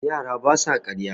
yara ba sa karya